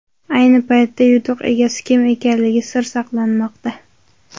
Ayni paytda yutuq egasi kim ekanligi sir saqlanmoqda.